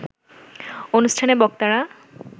অনুষ্ঠানে বক্তারা